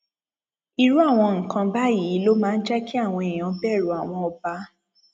irú àwọn nǹkan báyìí ló máa jẹ kí àwọn èèyàn bẹrù àwọn ọba